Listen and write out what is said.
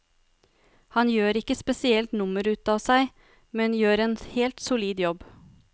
Han gjør ikke spesielt nummer utav seg, men gjør en helt solid jobb.